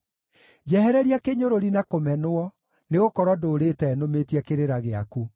Njehereria kĩnyũrũri na kũmenwo, nĩgũkorwo ndũũrĩte nũmĩtie kĩrĩra gĩaku.